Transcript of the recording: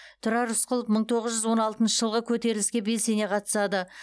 тұрар рысқұлов мың тоғыз жүз он алтыншы жылғы көтеріліске белсене қатысады